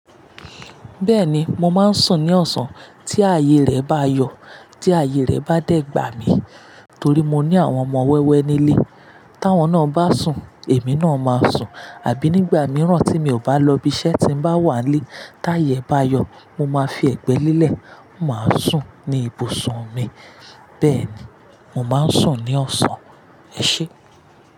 Bẹ́ẹ̀ni, mo máa ń sùn ní ọ̀sán. Tí ààyè rẹ bá yọ, tí ààyè rẹ bá dẹ̀ gbà mí torí mo ní àwọn ọmọ wẹ́wẹ́ nílé. Tí àwọn náà bá sùn, èmi náà máa sùn. Àbí nígbà mìíràn tí mi ò bá lọ ibi iṣẹ́ tí n bá wà nílé, tí ààyè bá yọ, mo máa fi ẹ̀gbẹ́ lílẹ̀, mó máa sùn ní ibùsùn mi. Bẹ́ẹ̀ni, mo máa ń sùn ní ọ̀sán. Ẹ ṣé.